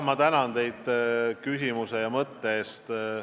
Ma tänan teid selle mõtte eest!